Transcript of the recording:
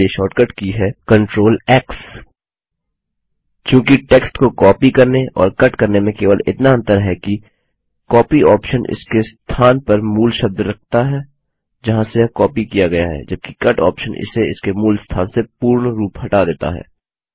cut के लिए shortcut की है CTRLX चूँकि टेक्स्ट को कॉपी करने और कट करने में केवल इतना अंतर है कि कॉपी ऑप्शन इसके स्थान पर मूल शब्द रखता है जहाँ से यह कॉपी किया गया है जबकि कट ऑप्शन इसे इसके मूल स्थान से पूर्णरूप हटा देता है